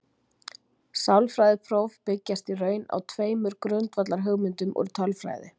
Sálfræðileg próf byggjast í raun á tveimur grundvallarhugmyndum úr tölfræði.